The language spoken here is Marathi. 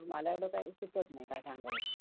हो आमच्याकडे भरते यात्रा.